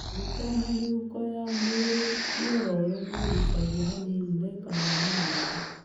Maguta na mĩhuko ya mwĩrĩ mĩororo nĩ ĩgucagia hanini na ĩkahana mũruru.